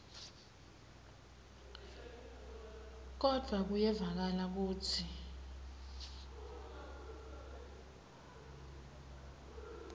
kodvwa kuyevakala kutsi